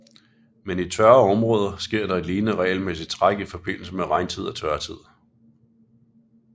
Men i tørre områder sker et lignende regelmæssigt træk i forbindelse med regntid og tørtid